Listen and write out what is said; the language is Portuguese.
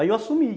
Aí eu assumi.